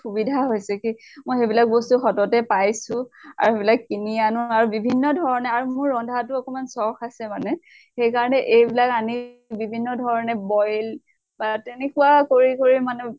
সুবিধা হৈছে কি মই সেইবিলাক বস্তু সততে পাইছো। আৰু সেইবিলাক কিনি আনো আৰু বিভিন্ন ধৰণে আৰু মোৰ ৰন্ধা টো অকমান চখ আছে মানে। সেই কাৰণে এইবলাক আনি বিভিন্ন ধৰণে boil বা তেনেকুৱা কৰি কৰি মানে